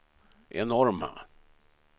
enorma